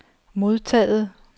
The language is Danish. modtaget